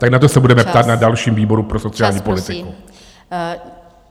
Tak na to se budeme ptát na dalším výboru pro sociální politiku.